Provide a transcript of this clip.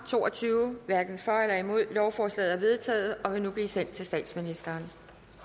to og tyve lovforslaget er vedtaget og vil nu blive sendt til statsministeren